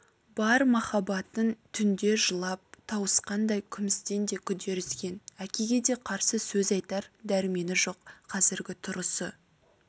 бар махаббатын түнде жылап тауысқандай күмістен де күдер үзген әкеге де қарсы сөз айтар дәрмені жоқ қазіргі тұрысы